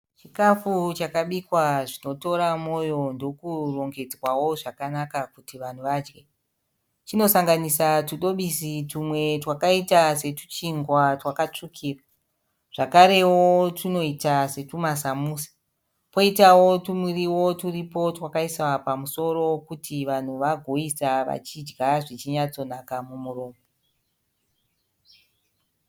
Chikafu chakabikwa zvinotora moyo ndokurongedzwawo zvakanaka kuti vanhu vadye. Chinosanganisa tudobisi tumwe twakaita setuchingwa twakatsvukira. Zvakarewo tunoita setuma samusa. Poitawo tumuriwo turipo twakaiswa pamusoro kuti vanhu vagoisa vachidya zvichinyatsonaka mumuromo.